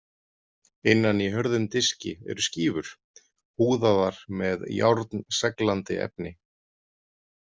Innan í hörðum diski eru skífur, húðaðar með járnseglandi efni.